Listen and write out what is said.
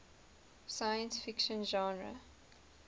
science fiction genre